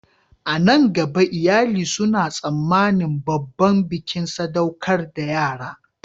A nan gaba, iyali suna tsammanin babban bikin sadaukar da yara